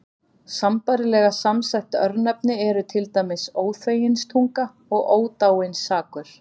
Sambærilega samsett örnefni eru til dæmis Óþveginstunga og Ódáinsakur.